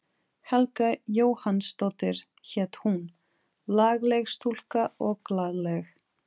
Helga Jóhannsdóttir hét hún, lagleg stúlka og glaðleg.